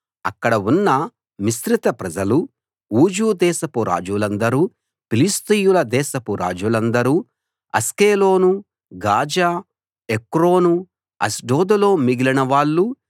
అక్కడ ఉన్న మిశ్రిత ప్రజలూ ఊజు దేశపు రాజులందరూ ఫిలిష్తీయుల దేశపు రాజులందరూ అష్కెలోను గాజా ఎక్రోను అష్డోదులో మిగిలిన వాళ్ళూ